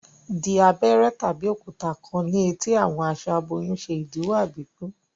Di abéré tàbí òkúta kán ní eti àwọn aṣọ aboyún ṣe idiwọ àbíkú